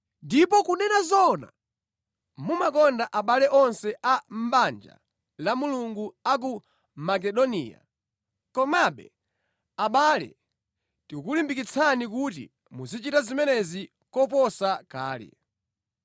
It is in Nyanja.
Ndipo kunena zoona, mumakonda abale onse a mʼbanja la Mulungu a ku Makedoniya. Komabe, abale tikukulimbikitsani kuti muzichita zimenezi koposa kale.